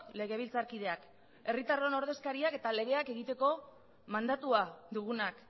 legebiltzarkideak herritarron ordezkariak eta legeak egiteko mandatua dugunak